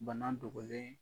Bana dogolen